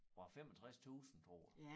Var 65 tusind tror jeg